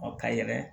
ka yɛlɛ